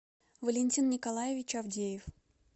валентин николаевич авдеев